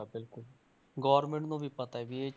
ਯੋਗ ਆ ਬਿਲਕੁਲ Government ਨੂੰ ਵੀ ਪਤਾ ਹੈ ਵੀ ਇਹ